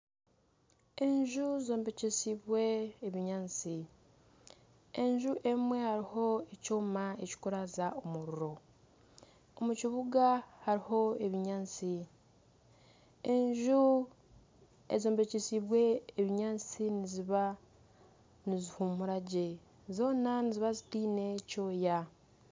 Enju zombekyesiibwe ebinyaatsi enju emwe hariho ekyoma ekirikuraza omuriro, omu kibuga hariho ebinyaatsi, enju ezombekyesiibwe obunyatsi niziba nizihumura gye zoona niziba zitaine kyoya.